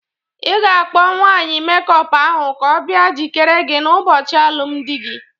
I ga-akpo nwanyị mekup ahụ ka ọ bia jikere gị n'ụbọchị alụmndị gị!